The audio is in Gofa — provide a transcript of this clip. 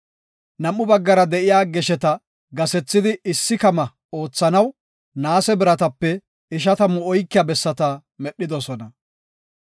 Nam7u baggara de7iya gesheta gasethidi issi kama oothanaw naase biratape ishatamu oykiya bessata medhidosona.